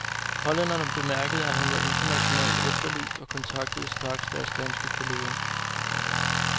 Hollænderne bemærkede, at hun var internationalt efterlyst og kontaktede straks deres danske kolleger.